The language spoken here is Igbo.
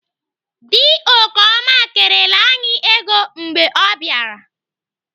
Dị Okeoma kerela anyị ego mgbe ọ bịara.